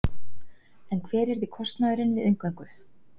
En hver yrði kostnaðurinn við inngöngu?